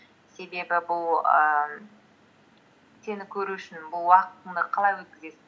себебі бұл ііі сені көру үшін бұл уақытынды қалай өткізесің